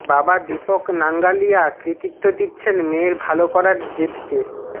বাবা দীপক নাঙ্গালিয়া কৃতীত্ব দিচ্ছেন মেয়ের ভালো করার জেদকে